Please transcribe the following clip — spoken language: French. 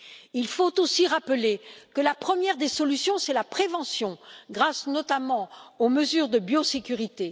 Il faut aussi rappeler que la première des solutions, c'est la prévention grâce notamment aux mesures de biosécurité.